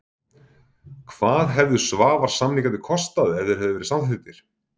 Hvað hefðu Svavars-samningarnir kostað ef þeir hefðu verið samþykktir?